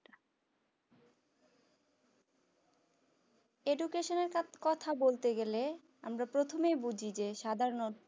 Education এর কথা বলতে গেলে আমরা প্রথমে বুঝি যে সাধারণ